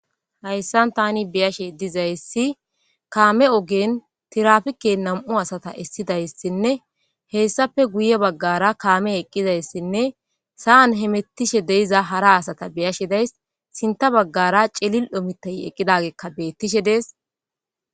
hayssan tani beyashe dizayssi kaame ogen tirafike nam'u asata essidayssinne hessape guye baggara kaame eqqidayssinne sa7an hemettishe deiza hara asata beyashe days sinta baggara celil'o mitay eqqidagekka beettishe dees